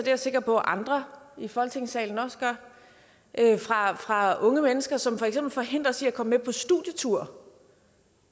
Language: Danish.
jeg sikker på andre i folketingssalen også gør fra unge mennesker som for eksempel forhindres i at komme med på studietur